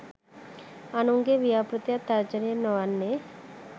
අනුන්ගේ ව්‍යාප්තියක් තර්ජනයක් නොවන්නේ